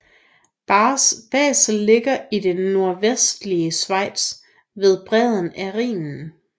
Basel ligger i det nordvestlige Schweiz ved bredden af Rhinen